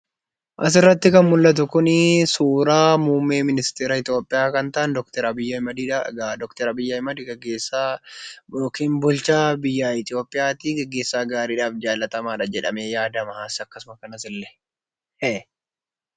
Asirratti kan mul'atu kuni suuraa muummee ministeera Itoophiyaa kan ta'an Dookter Abiyi Ahmedidha. Egaa Dookter Abiyi Ahmed gaggeessaa yookiin bulchaa biyya Itoophiyaati. Gaggeessaa gaariidhaaf jaallatamaadha jedhamee yaadama akkasuma kanasillee.